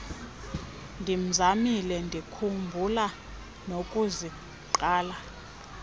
ndimzamile ndikhumbula nokuziqala